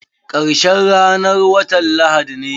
Karshen ranan watan lahadi ne.